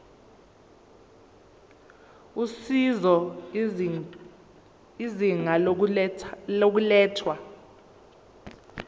usizo izinga lokulethwa